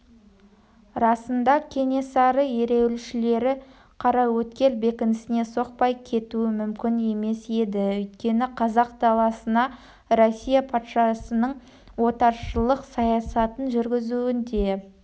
расында кенесары ереуілшілері қараөткел бекінісіне соқпай кетуі мүмкін емес еді өйткені қазақ даласына россия патшасының отаршылық саясатын жүргізуінде